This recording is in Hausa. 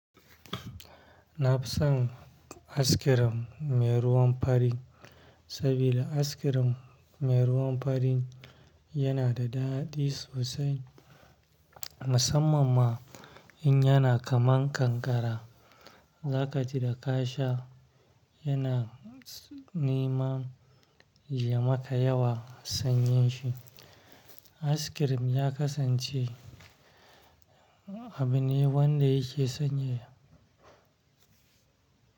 Na fi son askirim mai ruwan fari sabida askirim mai ruwan fari yana da daɗi sosai, musamman ma in yana kaman kankara. Za ka ji da ka sha yana neman ya maka yawa sanyin shi. Askirim ya kasance abu ne wanda yake sanyaya.